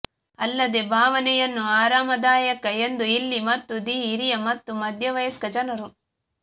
ಅಲ್ಲದೆ ಭಾವನೆಯನ್ನು ಆರಾಮದಾಯಕ ಎಂದು ಇಲ್ಲಿ ಮತ್ತು ದಿ ಹಿರಿಯ ಮತ್ತು ಮಧ್ಯವಯಸ್ಕ ಜನರು